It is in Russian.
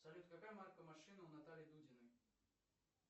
салют какая марка машины у натальи дудиной